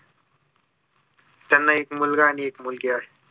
त्यांना एक मुलगा आणि एक मुलगी आहे